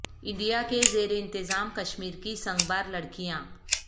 India کے زیر انتظام کشمیر کی سنگ بار لڑکیاں